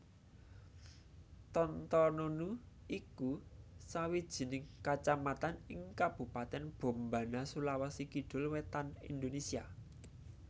Tontonunu iku sawijining kacamatan ing Kabupatèn Bombana Sulawesi Kidul wétan Indonésia